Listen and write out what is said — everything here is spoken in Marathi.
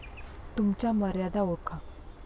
तुमच्या मर्यादा ओळखा.